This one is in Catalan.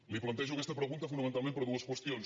li plantejo aquesta pregunta fonamentalment per dues qüestions